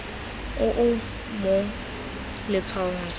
o o mo letshwaong kwa